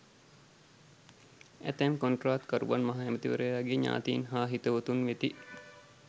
ඇතැම් කොන්ත්‍රාත්කරුවන් මහ ඇමතිවරයාගේ ඥාතීන් හා හිතවතුන් වෙති.